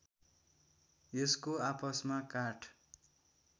यसको आपसमा काठ